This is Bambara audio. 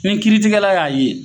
Nin kiritigɛla y'a ye.